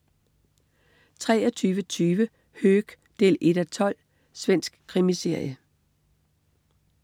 23.20 Höök 1:12. Svensk krimiserie